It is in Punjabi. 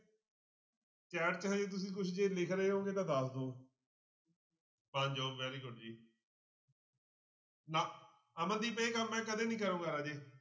Chat 'ਚ ਹਜੇ ਤੁਸੀਂ ਕੁਛ ਜੇ ਲਿਖ ਰਹੇ ਹੋਵੋਂਗੇ ਤਾਂ ਦੱਸ ਦਓ ਮਾਨਜੋਤ very good ਜੀ ਨਾ ਅਮਰਦੀਪ ਇਹ ਕੰਮ ਮੈਂ ਕਦੇ ਨੀ ਕਰਾਂਗਾ ਰਾਜੇ।